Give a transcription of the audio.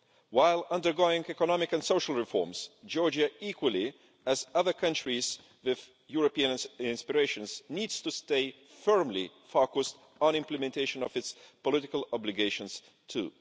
While undergoing economic and social reforms, Georgia equally as other countries with European inspirations needs to stay firmly focused on the implementation of its political obligations too.